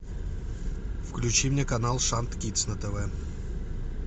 включи мне канал шант кидс на тв